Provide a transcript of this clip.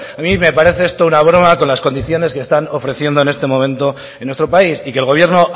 a mí me parece esto una broma con las condiciones que están ofreciendo en este momento en nuestro país y que el gobierno